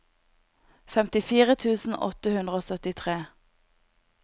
femtifire tusen åtte hundre og syttitre